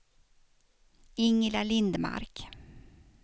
Ingela Lindmark